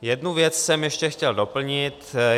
Jednu věc jsem ještě chtěl doplnit.